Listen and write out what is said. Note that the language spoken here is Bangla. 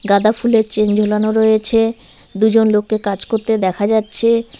গাঁদা ফুলের চেন ঝোলানো রয়েছে দুজন লোককে কাজ করতে দেখা যাচ্ছে।